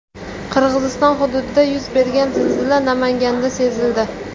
Qirg‘iziston hududida yuz bergan zilzila Namanganda sezildi.